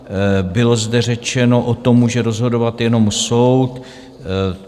Bylo zde řečeno: O tom může rozhodovat jenom soud.